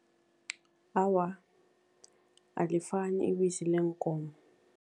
Awa, alifani ibisi leenkomo.